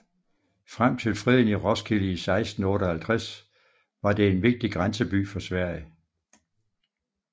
Frem til freden i Roskilde i 1658 var det en vigtig grænseby for Sverige